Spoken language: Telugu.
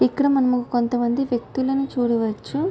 ఇక్కడ మనము కొంత మంది వ్యక్తులని చూడవచ్చు.